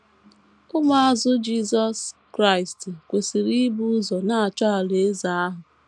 Ụmụazụ Jisọs Kraịst kwesịrị ‘ ibu ụzọ na - achọ alaeze ahụ. ’